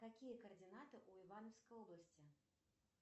какие координаты у ивановской области